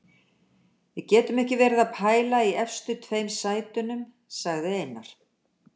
Við getum ekki verið að pæla í efstu tveim sætunum, sagði Einar.